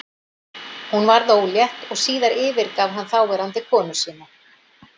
Hún varð ólétt og síðar yfirgaf hann þáverandi eiginkonu sína.